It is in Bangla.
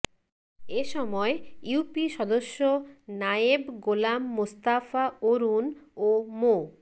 এসময় ইউপি সদস্য নায়েব গোলাম মোস্তফা অরুন ও মো